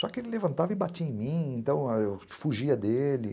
Só que ele levantava e batia em mim, então eu fugia dele.